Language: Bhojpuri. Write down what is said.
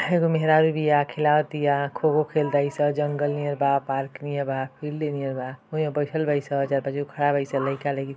एगो मेहरारू बिया खेलावतिया खो खो खेल तारी सं जंगल नियर बा पार्क नियर बा ओहींगा बइठल बाड़ी स चार पाँच गो खड़ा बाड़ी स लइका लईकी --